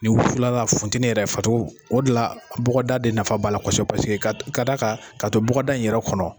Ni wu kila la funtɛni yɛrɛ facogo o de la bɔgɔda de nafa b'a la kɔsɛbɛ. Paseke ka da kan ka to bɔgɔda in yɛrɛ kɔnɔ.